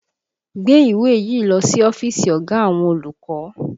Gbé ìwé yìí lọ sí ọ́fíìsì ọ̀gá àwọn olùkọ́!